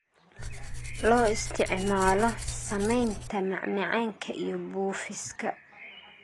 Loo isticmaalo samaynta macmacaanka iyo buufiska.